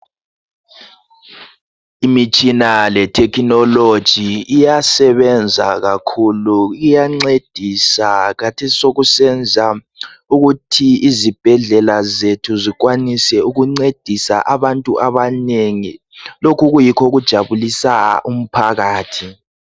Imitshina le thekhinoloji iyasebenza kakhulu iyancedisa khathesi sokusenza ukuthi izibhedlela zethu zikwanise ukuncedisa abantu abanengi lokhu kuyikho okujabulisa umphakathi